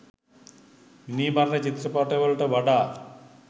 මිනී මරන චිත්‍රපටිවලට වඩා